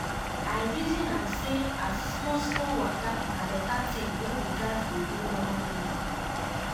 i reason am say as small small waka na beta tin wey we gas dey do normal normal